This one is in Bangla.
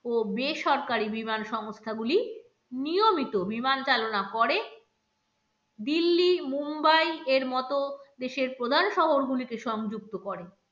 ও বেসরকারি বিমান সংস্থাগুলি নিয়মিত বিমান চালনা করে দিল্লি, মুম্বাই এর মত দেশের প্রধান শহরগুলিকে সংযুক্ত করে।